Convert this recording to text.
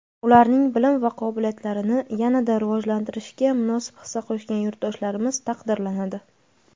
ularning bilim va qobiliyatlarini yana-da rivojlantirishga munosib hissa qo‘shgan yurtdoshlarimiz taqdirlanadi.